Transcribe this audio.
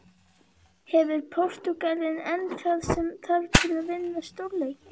Hefur Portúgalinn enn það sem þarf til að vinna stórleiki?